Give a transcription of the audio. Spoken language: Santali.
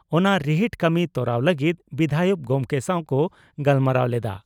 ᱚᱱᱟ ᱨᱤᱦᱤᱴ ᱠᱟᱹᱢᱤ ᱛᱚᱨᱟᱣ ᱞᱟᱹᱜᱤᱫ ᱵᱤᱫᱷᱟᱭᱚᱠ ᱜᱚᱢᱠᱮ ᱥᱟᱣ ᱠᱚ ᱜᱟᱞᱢᱟᱨᱟᱣ ᱞᱮᱫᱼᱟ ᱾